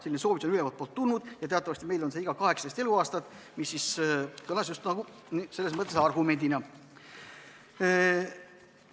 Selline soovitus on ülevaltpoolt tulnud ja teatavasti on meil see iga 18 eluaastat, mis kõlas selles mõttes just nagu argumendina.